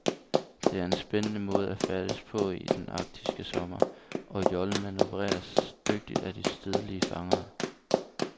Det er en spændende måde at færdes på i den arktiske sommer, og jollen manøvreres dygtigt af de stedlige fangere.